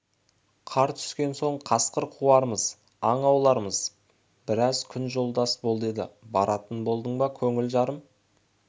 қар түскен соң қасқыр қуармыз аң аулармыз біраз күн жолдас бол деді баратын болдың ба көңілі жарым